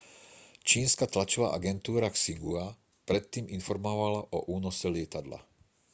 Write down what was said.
čínska tlačová agentúra xinhua predtým informovala o únose lietadla